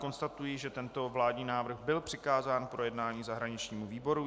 Konstatuji, že tento vládní návrh byl přikázán k projednání zahraničnímu výboru.